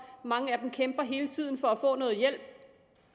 mange af dem kæmper hele tiden for at få noget hjælp